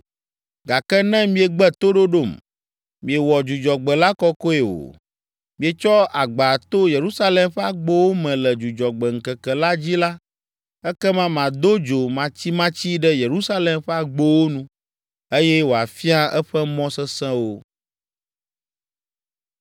Gake ne miegbe toɖoɖom, miewɔ Dzudzɔgbe la kɔkɔe o, mietsɔ agba to Yerusalem ƒe agbowo me le Dzudzɔgbe ŋkeke la dzi la, ekema mado dzo matsimatsi ɖe Yerusalem ƒe agbowo nu eye wòafia eƒe mɔ sesẽwo.’ ”